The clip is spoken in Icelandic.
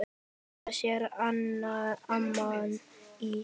Þetta segir amman í